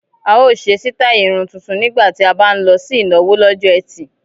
A ó ṣe sítáì irun tuntun nígbà tí a bá ń lọ sí ìnáwó lọ́jọ́ ẹtì